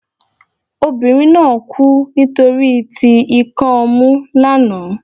obìnrín na kú nitoriti ikan ọmu lana